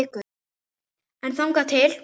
En þangað til?